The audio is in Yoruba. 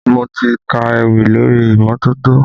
Mo ti ka ewì lórí imọtoto